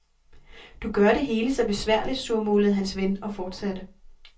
Du gør det hele så besværligt, surmulede hans ven og fortsatte.